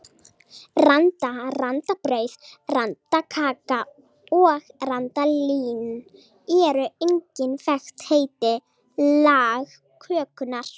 Randa, randabrauð, randakaka og randalín eru einnig þekkt heiti lagkökunnar.